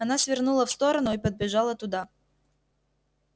она свернула в сторону и подбежала туда